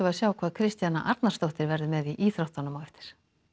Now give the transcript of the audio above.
sjá hvað Kristjana Arnarsdóttir verður með í íþróttunum á eftir